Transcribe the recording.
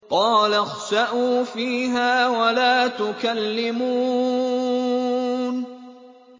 قَالَ اخْسَئُوا فِيهَا وَلَا تُكَلِّمُونِ